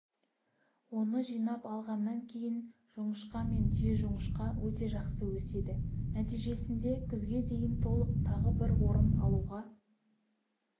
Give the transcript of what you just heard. оны жинап алғаннан кейін жоңышқа мен түйежоңышқа өте жақсы өседі нәтижесінде күзге дейін толық тағы бір орым алуға